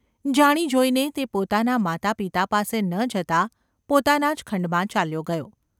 જાણી જોઈને તે પોતાનાં માતા પિતા પાસે ન જતાં પોતાના જ ખંડમાં ચાલ્યો ગયો.